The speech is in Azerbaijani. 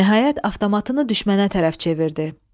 Nəhayət, avtomatını düşmənə tərəf çevirdi.